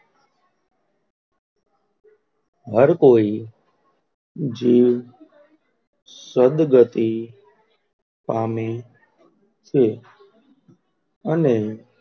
હર કોઈ, જીવ, સદગતી પામે છે? અને,